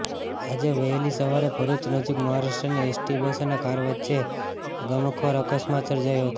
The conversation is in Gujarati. આજે વહેલી સવારે ભરૂચ નજીક મહારાષ્ટ્રની એસટી બસ અને કાર વચ્ચે ગમખ્વાર અકસ્માત સર્જાયો હતો